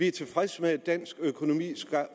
er tilfreds med at dansk økonomi